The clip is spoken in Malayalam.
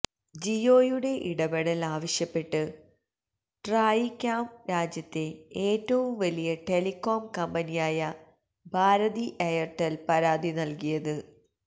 ജിയോയുടെ ഇടപെടല് ആവശ്യപ്പെട്ട് ട്രായിയ്ക്കാമ് രാജ്യത്തെ ഏറ്റവും വലിയ ടെലികോം കമ്പനിയായ ഭാരതി എയര്ടെല് പരാതി നല്കിയത്